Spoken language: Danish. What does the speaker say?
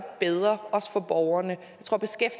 bedre også for borgerne